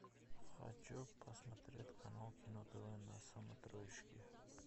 хочу посмотреть канал кино тв на смотрешке